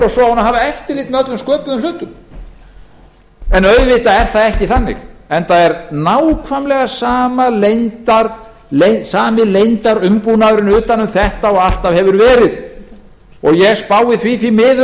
að hafa eftirlit með öllum sköpuðum hlutum en auðvitað er það ekki þannig enda er nákvæmlega sami leyndarumbúnaðurinn utan um þetta og alltaf hefur verið ég spái því því